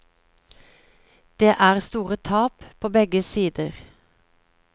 Det er store tap på begge sider.